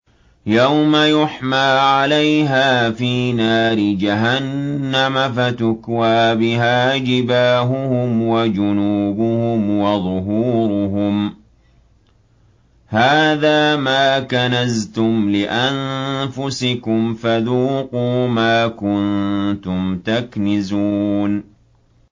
يَوْمَ يُحْمَىٰ عَلَيْهَا فِي نَارِ جَهَنَّمَ فَتُكْوَىٰ بِهَا جِبَاهُهُمْ وَجُنُوبُهُمْ وَظُهُورُهُمْ ۖ هَٰذَا مَا كَنَزْتُمْ لِأَنفُسِكُمْ فَذُوقُوا مَا كُنتُمْ تَكْنِزُونَ